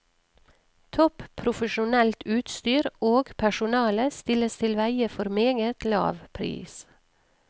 Topp profesjonelt utstyr og personale stilles til veie for meget lav pris.